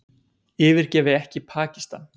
Yfirgefi ekki Pakistan